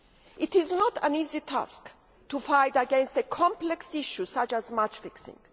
It is not an easy task to fight against a complex issue such as match fixing.